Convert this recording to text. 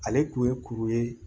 Ale kun ye kuru ye